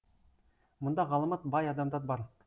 мұнда ғаламат бай адамдар бар